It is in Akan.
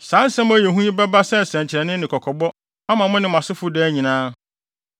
Saa nsɛm a ɛyɛ hu yi bɛba sɛ nsɛnkyerɛnne ne kɔkɔbɔ ama mo ne mo asefo daa nyinaa.